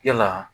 Yala